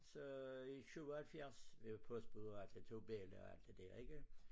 Så i 77 og jeg var postbud og har 2 belli og alt det dér ikke